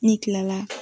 Ni kila la